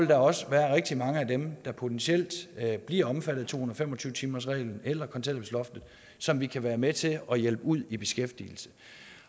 der også være rigtig mange af dem der potentielt bliver omfattet af to og fem og tyve timersreglen eller kontanthjælpsloftet som vi kan være med til at hjælpe ud i beskæftigelse